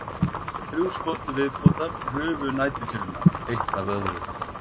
Þrjú skot til viðbótar rufu næturkyrrðina eitt af öðru.